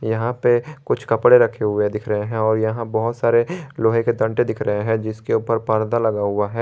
यहां पे कुछ कपड़े रखे हुए दिख रहे हैं और यहां बहुत सारे लोहे के डंडे दिख रहे हैं जिसके ऊपर पर्दा लगा हुआ है।